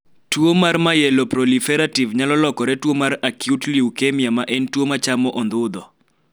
tuo mar myeloproliferative nyalo lokore tuo mar acute luekemia ma en tuo ma chamo ondhudho